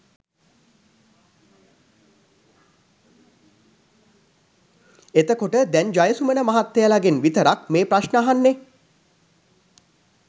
එතකොට දැන් ජයසුමන මහත්තයලගෙන් විතරක් මේ ප්‍රශ්න අහන්නේ